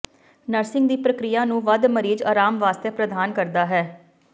nursing ਦੀ ਪ੍ਰਕਿਰਿਆ ਨੂੰ ਵੱਧ ਮਰੀਜ਼ ਆਰਾਮ ਵਾਸਤੇ ਪ੍ਰਦਾਨ ਕਰਦਾ ਹੈ